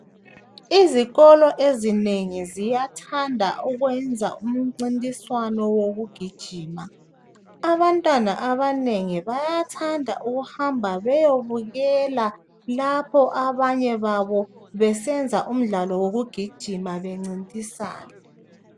Izikolo ezinengi ziyathanda ukwenza umncintiswano wokugijima ,abantwana abanengi bayathanda ukuhamba beyobukela lapho abanye babo besenza umdlalo wokugijima bencintisana .